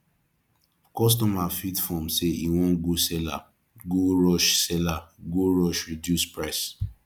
kostomer fit form say e wan go seller go rush seller go rush reduce price